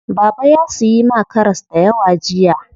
Baba ya siyi ma karas dayawa jiya.